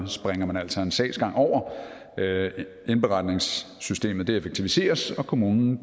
springer man altså en sagsgang over indberetningssystemet effektiviseres og kommunen